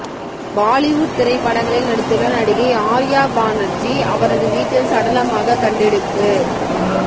பாலிவுட் திரைப்படங்களில் நடித்துள்ள நடிகை ஆர்யா பாணர்ஜி அவரது வீட்டில் சடலமாக கண்டெடுப்பு